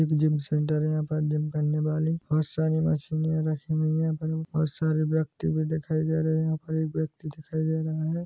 एक gym center है यहाँ पर जिम करने वाले बहोत सारे मशीन रखे हुए है बहोत सारे व्यक्ति भी दिखाई दे रहे है यहाँ पर एक व्यक्ति दिखाई दे रहा है।